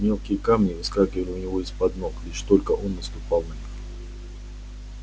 мелкие камни выскальзывали у него из под ног лишь только он наступал на них